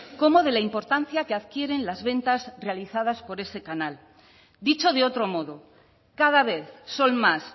como de la importancia que adquieren las ventas realizadas por ese canal dicho de otro modo cada vez son más